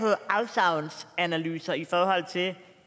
afsavnsanalyser i forhold til